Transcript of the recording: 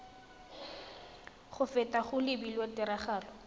go feta go lebilwe tiragatso